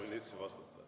Palun ministril vastata.